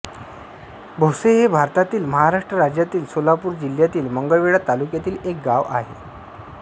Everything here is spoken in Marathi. भोसे हे भारतातील महाराष्ट्र राज्यातील सोलापूर जिल्ह्यातील मंगळवेढा तालुक्यातील एक गाव आहे